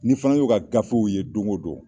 N'i fana y'o ka gafew ye don go don,